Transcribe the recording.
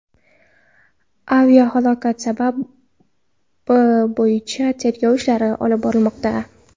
Aviahalokat sababi bo‘yicha tergov ishlari olib borilmoqda.